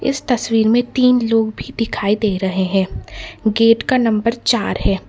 इस तस्वीर में तीन लोग भी दिखाई दे रहे हैं गेट का नंबर चार है।